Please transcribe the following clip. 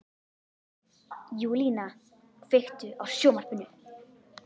Júlína, kveiktu á sjónvarpinu.